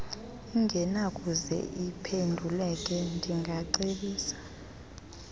engenakuze iphenduleke ndingacebisa